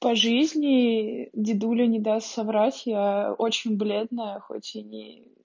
по жизни дедулю не даст соврать я очень бледная хоть и не